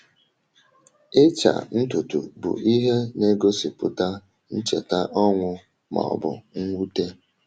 Ịcha ntutu bụ ihe na-egosipụta ncheta ọnwụ ma ọ bụ mwute.